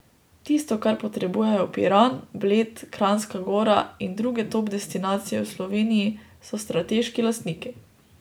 Tisto, kar potrebujejo Piran, Bled, Kranjska gora in druge top destinacije v Sloveniji, so strateški lastniki.